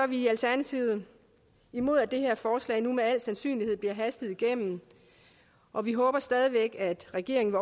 vi i alternativet imod at det her forslag nu med al sandsynlighed bliver hastet igennem og vi håber stadig væk at regeringen